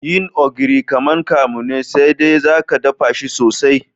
Yin ogiri kaman kamu ne sai de zaka daffa shi sosai.